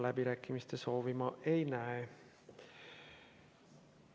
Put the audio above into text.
Läbirääkimiste soovi ma ei näe.